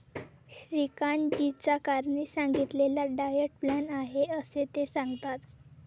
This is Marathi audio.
श्रीकांत जीचाकारणी सांगितलेला डायट प्लान आहे असे ते सांगतात.